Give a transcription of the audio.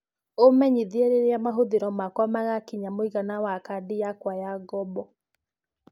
umenyĩthie rĩrĩa mahuthiro makwa magakinya mũigana wa Kandi yakwa ya ngombo